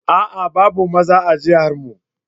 A'a! babu maza a jihar mu.